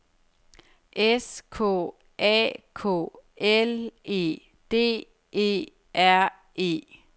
S K A K L E D E R E